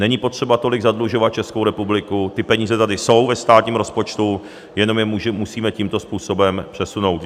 Není potřeba tolik zadlužovat Českou republiku, ty peníze tady jsou ve státním rozpočtu, jenom je musíme tímto způsobem přesunout.